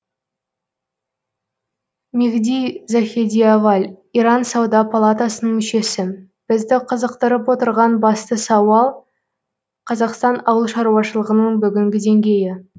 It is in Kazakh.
мехди захедиаваль иран сауда палатасының мүшесі бізді қызықтырып отырған басты сауал қазақстан ауыл шаруашылғының бүгінгі деңгейі